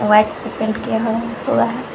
White से paint किया गया है पूरा।